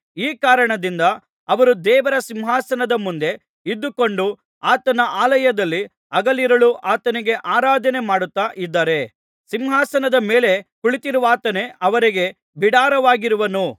ಈ ಕಾರಣದಿಂದ ಅವರು ದೇವರ ಸಿಂಹಾಸನದ ಮುಂದೆ ಇದ್ದುಕೊಂಡು ಆತನ ಆಲಯದಲ್ಲಿ ಹಗಲಿರುಳೂ ಆತನಿಗೆ ಆರಾಧನೆ ಮಾಡುತ್ತಾ ಇದ್ದಾರೆ ಸಿಂಹಾಸನದ ಮೇಲೆ ಕುಳಿತಿರುವಾತನೇ ಅವರಿಗೆ ಬಿಡಾರವಾಗಿರುವನು